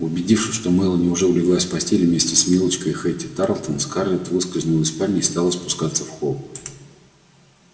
убедившись что мелани уже улеглась в постель вместе с милочкой и хэтти тарлтон скарлетт выскользнула из спальни и стала спускаться в холл